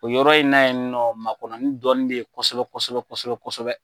O yɔrɔ in n'a ye nɔ makɔnɔ ni dɔɔni bɛ ye kosɛbɛ kosɛbɛ kosɛbɛ kosɛbɛ.